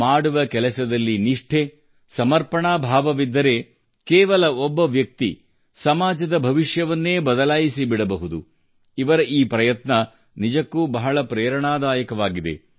ಮಾಡುವ ಕೆಲಸದಲ್ಲಿ ನಿಷ್ಠೆ ಸಮರ್ಪಣಾ ಭಾವವಿದ್ದರೆ ಕೇವಲ ಒಬ್ಬ ವ್ಯಕ್ತಿ ಸಮಾಜದ ಭವಿಷ್ಯವನ್ನೇ ಬದಲಾಯಿಸಿಬಿಡಬಹುದು ಇವರ ಈ ಪ್ರಯತ್ನ ನಿಜಕ್ಕೂ ಬಹಳ ಪ್ರೇರಣಾದಾಯಕವಾಗಿದೆ